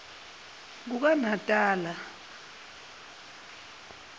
kukanatala